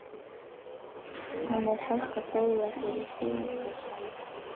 Hún er hætt að greiða fyrir sýningarsali.